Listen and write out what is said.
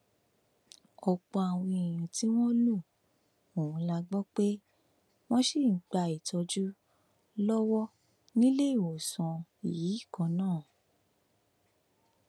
ọpọ àwọn tí wọn lu ohùn la gbọ pé wọn ṣì ń gba ìtọjú lọwọ níléewọsán yìí kan náà